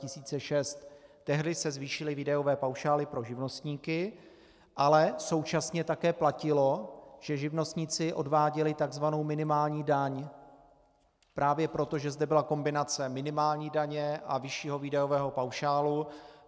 Tehdy se zvýšily výdajové paušály pro živnostníky, ale současně také platilo, že živnostníci odváděli tzv. minimální daň právě proto, že zde byla kombinace minimální daně a vyššího daňového paušálu.